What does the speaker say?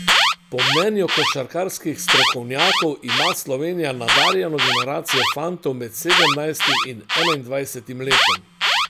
Po mnenju košarkarskih strokovnjakov ima Slovenija nadarjeno generacijo fantov med sedemnajstim in enaindvajsetim letom.